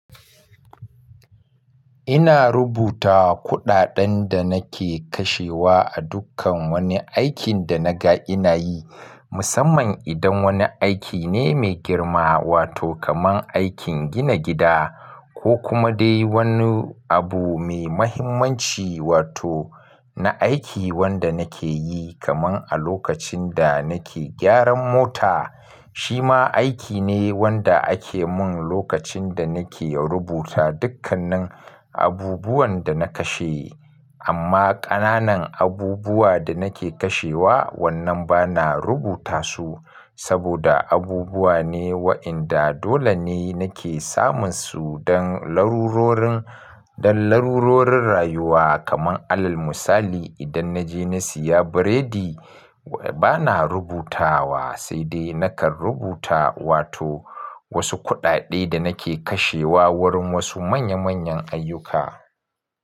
Ina rubuta kuɗaɗen da nake kashewa a dukkan wani aikin da naga ina yi, musamman idan wani aiki ne mai girma wato kamar aikin gina gida ko kuma dai wani abu mai muhimmanci wato na aiki wanda nake yi kamar a lokacin da nake gyaran mota. Shi ma aiki ne wanda ake mun lokacin da nake rubuta dukkanin abubuwan da na kashe. Amma ƙananan abubuwa da nake kashewa, wannan ba na rubuta su saboda abubuwa ne wa'inda dole ne nake samun su don larurorin, don larurorin rayuwa kamar alal misali idan na je na siya biredi, ba na rubutawa sai dai nakan rubuta wato wasu kuɗaɗe da nake kashewa wurin wasu manya manyan ayyuka.